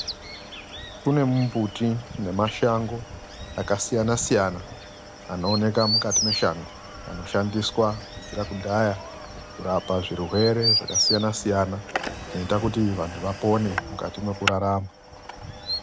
Kune mumbuti nemashango akasiyana-siyana .Anooneka mukati meshango anoshandiswa kubvira kudhaya kurapa zvirwere zvakasiyana -siyana .Zvinoita kuti vantu vapone mukati mekurarama .